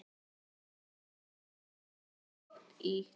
Há og hvít.